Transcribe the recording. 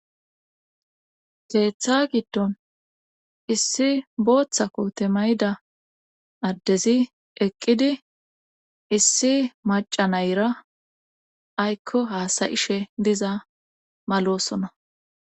keeththa giddon issi booththa koote mayda addezi eqqidi issi macanayra aykko haasayishe diza malosona